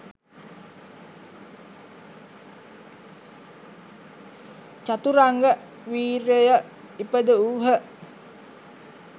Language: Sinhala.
චතුරංග වීර්යය ඉපදවූහ.